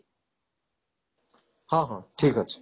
ହଁ ହଁ ଠିକ ଅଛି